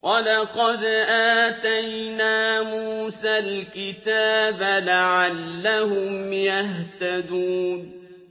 وَلَقَدْ آتَيْنَا مُوسَى الْكِتَابَ لَعَلَّهُمْ يَهْتَدُونَ